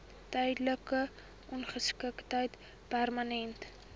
tydelike ongeskiktheid permanente